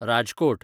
Rajkot